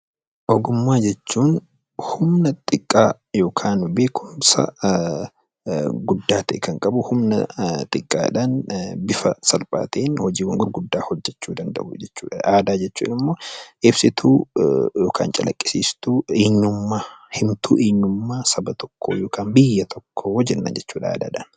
Ogummaa jechuun humna xiqqaa yookaan beekumsa guddaa tahe Kan qabu humna xiqqaadhaan bifa salphaa taheen hojiiwwan gurguddaa hojjechuu danda'uu jechuudha. Aadaan immoo ibsituu yookaan calaqisiistuu eenyummaa himtuu eenyummaa Saba tokkoo yookaan biyya tokkoo jenna jechuudha aadaadha.